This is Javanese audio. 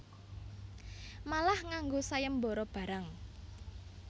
Malah nganggo sayembara barang